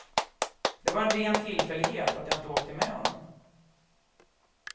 Det var en ren tillfällighet att jag inte åkte med honom.